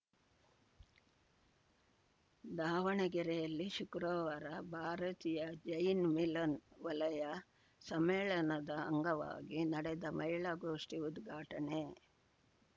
ದಾವಣಗೆರೆಯಲ್ಲಿ ಶುಕ್ರವಾರ ಭಾರತೀಯ ಜೈನ್‌ ಮಿಲನ್‌ ವಲಯ ಸಮ್ಮೇಳನದ ಅಂಗವಾಗಿ ನಡೆದ ಮಹಿಳಾ ಗೋಷ್ಠಿ ಉದ್ಘಾಟನೆ